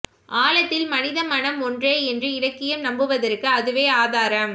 ஆழத்தில் மனிதமனம் ஒன்றே என்று இலக்கியம் நம்புவதற்கு அதுவே ஆதாரம்